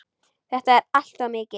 Þetta er allt of mikið!